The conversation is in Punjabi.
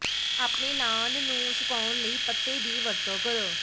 ਆਪਣੇ ਲਾਅਨ ਨੂੰ ਸੁਕਾਉਣ ਲਈ ਪੱਤੇ ਦੀ ਵਰਤੋਂ ਕਰੋ